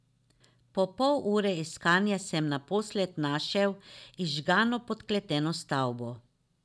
Po pol ure iskanja sem naposled našel izžgano podkleteno stavbo.